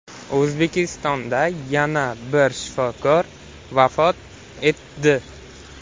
O‘zbekistonda yana bir shifokor vafot etdi.